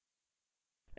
enter दबायेंगे